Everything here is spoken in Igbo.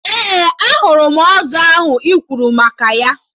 Ee, ahụrụ m ọzọ ahụ ị kwuru maka ya